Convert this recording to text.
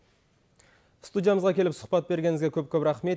студиямызға келіп сұхбат бергеніңізге көп көп рахмет